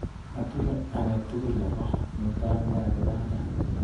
Atinye akatukul nebo mutai nekakipangan.